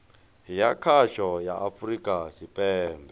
ya khasho ya afurika tshipembe